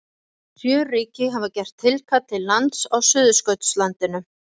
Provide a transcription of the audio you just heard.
Sjö ríki hafa gert tilkall til lands á Suðurskautslandinu.